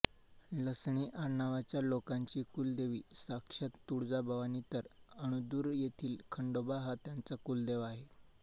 लसणे आडनावाच्या लोकांची कुलदेवी साक्षात तुळजाभवानी तर अणदूर येथील खंडोबा हा त्यांचा कुलदेव आहे